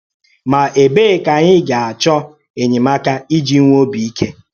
Mà, ébèe ka ànyị gà-àchọ́ enyémàká íjì nwèè òbì íké?